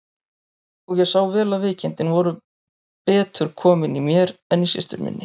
Og ég sá vel að veikindin voru betur komin í mér en í systur minni.